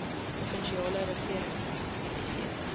provinsiale regering se